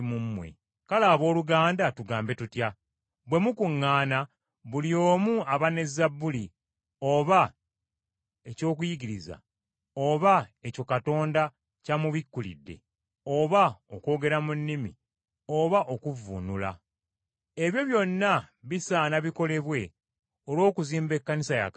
Kale abooluganda tugambe tutya? Bwe mukuŋŋaana buli omu aba ne zabbuli, oba eky’okuyigiriza, oba ekyo Katonda ky’amubikkulidde, oba okwogera mu nnimi, oba okuvvuunula. Ebyo byonna bisaana bikolebwe olw’okuzimba Ekkanisa ya Katonda.